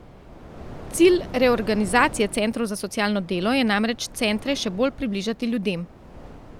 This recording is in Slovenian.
Cilj reorganizacije Centrov za socialno delo je namreč centre še bolj približati ljudem.